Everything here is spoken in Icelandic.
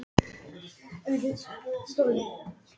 Sest og þvinga mig til að hefjast handa.